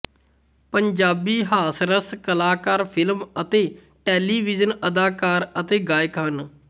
ਪੰਜਾਬੀ ਹਾਸਰਸ ਕਲਾਕਾਰ ਫ਼ਿਲਮ ਅਤੇ ਟੈਲੀਵਿਜ਼ਨ ਅਦਾਕਾਰ ਅਤੇ ਗਾਇਕ ਹਨ